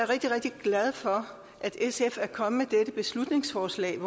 rigtig rigtig glad for at sf er kommet med dette beslutningsforslag